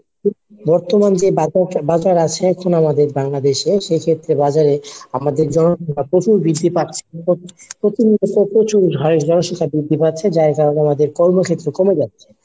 বর্তমান যে বাজার আছে এখন আমাদের Bangladesh এ সেক্ষেত্রে বাজার এ আমাদের জনসংখ্যা প্রচুর বৃদ্ধি পাচ্ছে। প্রতিনিয়ত প্রচুর হাড়ের জনসংখ্যা বৃদ্ধি পাচ্ছে যার কারণে আমাদের কর্মক্ষেত্র কমে যাচ্ছে।